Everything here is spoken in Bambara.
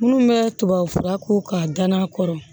Minnu bɛ tubabu fura ko k'a danna a kɔrɔ